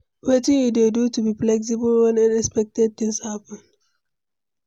Wetin you dey do to be flexible when unexpected things happen?